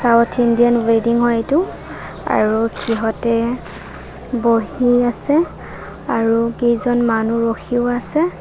South Indian ৱেডিং ৰ এইটো আৰু সিহঁতে বহি আছে আৰু কেইজন মানুহ ৰখিও আছে।